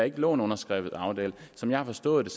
en underskrevet aftale som jeg har forstået